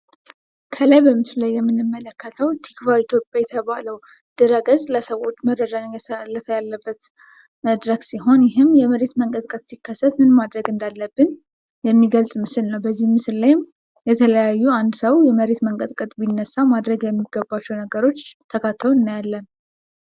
ከላይ በምስሉ ላይ የምንመለከተው ቲክቫህ ኢትዮጵያ የተባለው ድህረገጽ ለሰዎች መረጃ እያስተላለፈበት ያለው መድረክ ሲሆን፤ ይህም የመሬት መንቀጥቀት ሲከሰት ምን ማድረግ እንዳለብን የሚገልጽ ምስል ነው። በዚህ ምስል ላይም የተለያዩ አንድ ሰው የመሬት መንቀትቀት ቢነሳ ማድረግ የሚገባቸው ነገሮች ተካተው እናያለን።